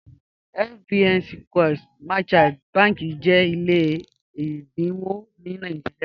FBN Quest Merchant bànḳì jẹ́ ilẹ̀ ẹ̀dínwọ̀ ní Nàìjíríà.